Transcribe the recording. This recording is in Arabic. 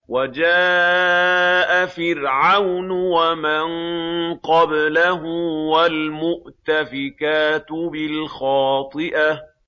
وَجَاءَ فِرْعَوْنُ وَمَن قَبْلَهُ وَالْمُؤْتَفِكَاتُ بِالْخَاطِئَةِ